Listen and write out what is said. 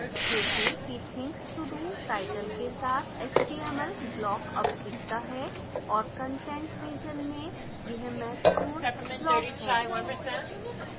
देखें कि things to do title के साथ html block अब दिखता है